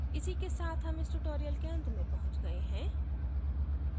इसी के साथ हम इस tutorial के अंत में पहुँच गए हैं